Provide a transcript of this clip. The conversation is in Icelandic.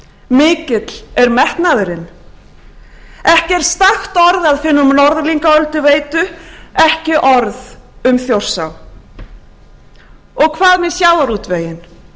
mikill er metnaðurinn ekki er stakt orð að finna um norðlingaölduveitu ekki orð um þjórsá og hvað með sjávarútveginn